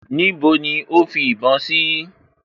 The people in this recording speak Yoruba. Níbo ni ó fi ìbọn sí?